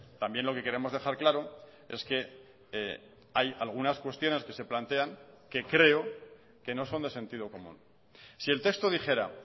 también lo que queremos dejar claro es que hay algunas cuestiones que se plantean que creo que no son de sentido común si el texto dijera